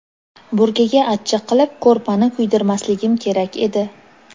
Burgaga achchiq qilib ko‘rpani kuydirmasligim kerak edi.